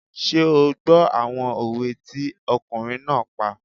Ṣé o gbọ́ àwọn òwe tí ọkùnrin náà pa?